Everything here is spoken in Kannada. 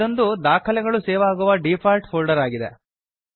ಇದೊಂದು ದಾಖಲೆಗಳು ಸೇವ್ ಆಗುವ ಡೀಫಾಲ್ಟ್ ಫೋಲ್ಡರ್ ಆಗಿದೆ